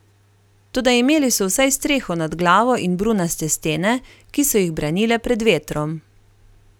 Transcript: Toda imeli so vsaj streho nad glavo in brunaste stene, ki so jih branile pred vetrom.